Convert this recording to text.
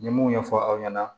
N ye mun ɲɛfɔ aw ɲɛna